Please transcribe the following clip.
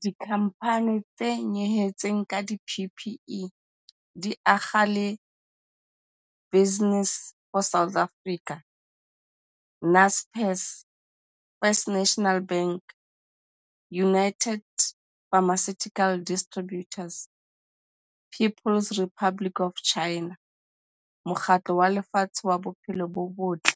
Dikhamphani tse nyehetseng ka di-PPE di akga le Business for South Africa, Naspers, First National Bank, United Pharmaceutical Distributors, People's Republic of China, Mokgatlo wa Lefatshe wa Bophelo bo Botle,